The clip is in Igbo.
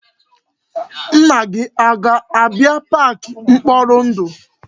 Nna gị a ga-abia park mkporindu?